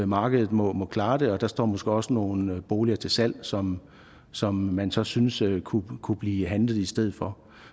markedet må må klare det og der står måske også nogle boliger til salg som som man så synes kunne kunne blive handlet i stedet for